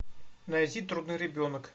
найти трудный ребенок